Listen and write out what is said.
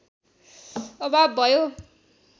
अभाव भयो